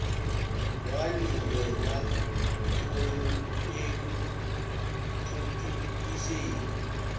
wanikela khulu ekuthuthukiseni